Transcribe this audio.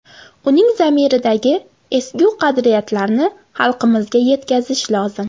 Uning zamiridagi ezgu qadriyatlarni xalqimizga yetkazish lozim.